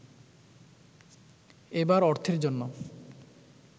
এবার অর্থের জন্য